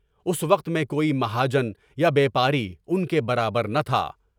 اس وقت میں کوئی مہاجن یا بیپاری ان کے برابر نہ تھا۔